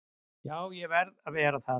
Jú, ég verð að vera það.